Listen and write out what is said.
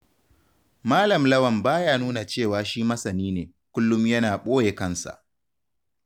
Malam Lawan baya nuna cewa shi masani ne, kullum yana ɓoye kansa.